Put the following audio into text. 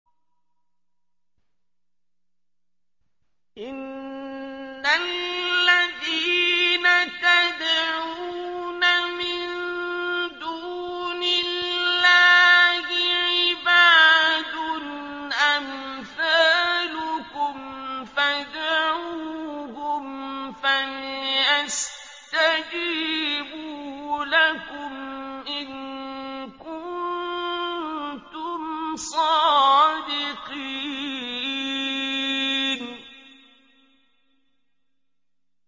إِنَّ الَّذِينَ تَدْعُونَ مِن دُونِ اللَّهِ عِبَادٌ أَمْثَالُكُمْ ۖ فَادْعُوهُمْ فَلْيَسْتَجِيبُوا لَكُمْ إِن كُنتُمْ صَادِقِينَ